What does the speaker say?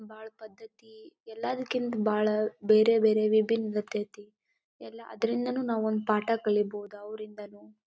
ಬಾಲ ಪದ್ದತಿ ಎಲ್ಲ ರೀತಿ ಕಿಂತ ಬಾಳ ಬೇರೆ ಬೇರೆ ವಿಬಿನ್ ಇರ್ತತೇ. ಎಲ್ಲ ಅದ್ರ ನಿಂದನು ಒಂದು ಪಾಠ ಕಲೀಬೋದು ಅವರಿಂದಾನೂ.